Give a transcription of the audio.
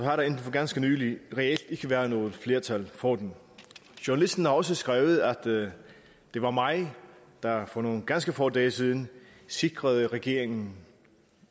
har der indtil for ganske nylig reelt ikke været noget flertal for den journalisten har også skrevet at det var mig der for nogle ganske få dage siden sikrede regeringen